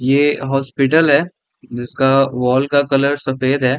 ये हॉस्पिटल है जिसका वॉल का कलर सफ़ेद है।